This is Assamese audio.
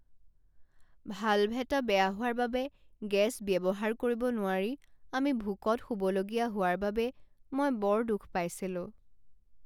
ভাল্ভ এটা বেয়া হোৱাৰ বাবে গেছ ব্যৱহাৰ কৰিব নোৱাৰি আমি ভোকত শুবলগীয়া হোৱাৰ বাবে মই বৰ দুখ পাইছিলোঁ।